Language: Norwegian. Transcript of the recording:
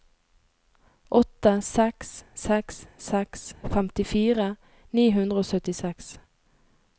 åtte seks seks seks femtifire ni hundre og syttiseks